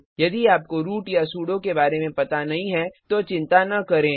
यदि आपको रूट या सुडो के बारे में पता नहीं है तो चिंता न करें